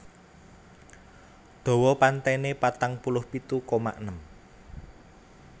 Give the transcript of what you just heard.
Dawa pantênê patang puluh pitu koma enem